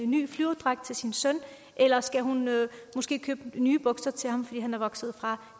ny flyverdragt til sin søn eller skal hun måske købe nye bukser til ham fordi han er vokset fra